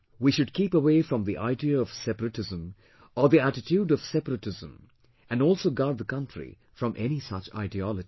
We should keep away from the idea of separatism or the attitude of separatism and also guard the country from any such ideology